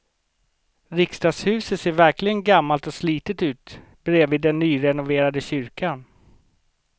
Riksdagshuset ser verkligen gammalt och slitet ut bredvid den nyrenoverade kyrkan.